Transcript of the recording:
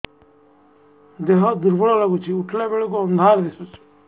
ଦେହ ଦୁର୍ବଳ ଲାଗୁଛି ଉଠିଲା ବେଳକୁ ଅନ୍ଧାର ଦିଶୁଚି